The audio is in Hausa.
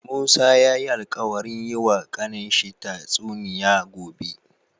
Musa yayi alkawarin yi wa kanin shi ta tsuniya gobe